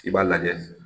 I b'a lajɛ